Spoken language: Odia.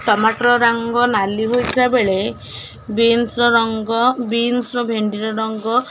ଟମାଟର ରଙ୍ଗ ନାଲି ହୋଇଥିବା ବେଳେ ବିନସ୍ ର ରଙ୍ଗ ବିନସ୍ ର ଭେଣ୍ଡି ର ରଙ୍ଗ --